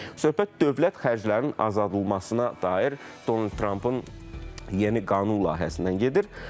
Söhbət dövlət xərclərinin azaldılmasına dair Donald Trampın yeni qanun layihəsindən gedir.